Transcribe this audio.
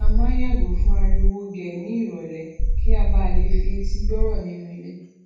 a mán n yàgò fún ariwo gè ní ìrọlẹ kí a ba lè fi etí gbọrọ nínú ilé